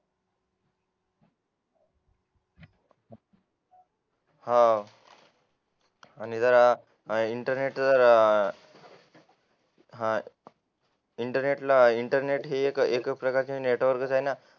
हो आणि जरा इंटरनेटचा जरा इंटरनेटला इंटरनेट ही एक प्रकारची नेटवर्क आहे ना